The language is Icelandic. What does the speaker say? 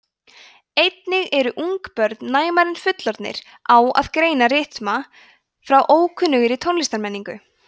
einnig eru ungbörn næmari en fullorðnir á að greina rytma frá ókunnugri tónlistarmenningu